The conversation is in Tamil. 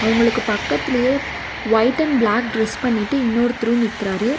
அவங்களுக்கு பக்கத்திலேயே வைட் அண்ட் பிளாக் டிரஸ் பண்ணிட்டு இன்னொருத்தரு நிக்கிறாரு.